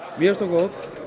mér finnst hún góð